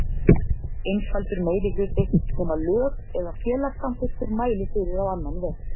einfaldur meirihluti, nema lög eða félagssamþykktir mæli fyrir á annan veg.